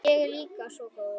Ég á líka svo góða að.